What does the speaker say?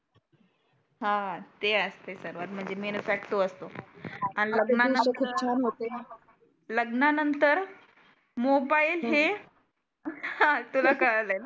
हा ते असते सर्वात म्हणजे मेन फॅक्ट तो असतो. आन लग्ना नंतर मोबाइल हे तुला कळालय.